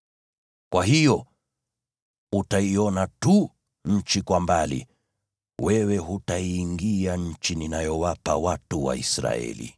Kwa hiyo, utaiona tu nchi kwa mbali; wewe hutaingia nchi ninayowapa watu wa Israeli.”